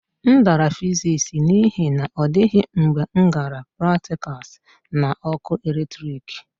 M dara fiziks n'ihi na ọ dịghị mgbe m gara praktikals na ọkụ eletrik